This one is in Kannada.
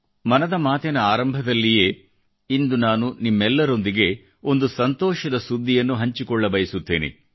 ಮನದ ಮಾತಿನ ಆರಂಭದಲ್ಲಿಯೇ ಇಂದು ನಾನು ನಿಮ್ಮೆಲ್ಲರೊಂದಿಗೆ ಒಂದು ಸಂತೋಷದ ಸುದ್ದಿಯನ್ನು ಹಂಚಿಕೊಳ್ಳಬಯಸುತ್ತೇನೆ